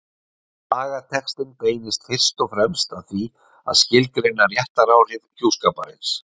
Lagatextinn beinist fyrst og fremst að því að skilgreina réttaráhrif hjúskaparins.